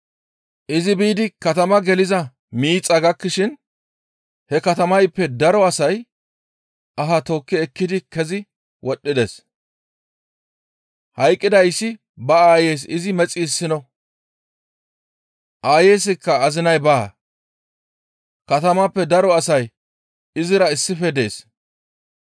Izi biidi katamaa geliza miixaa gakkishin he katamayppe daro asay aha tookki ekkidi kezi wodhdhides. Hayqqidayssi ba aayeys izi mexi issino. Aayeyska azinay baa; katamappe daro asay izira issife dees.